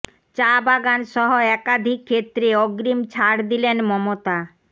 চা বাগান সহ একাধিক ক্ষেত্রে অগ্রিম ছাড় দিলেন মমতা